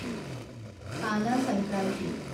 পানা সংক্ৰান্তি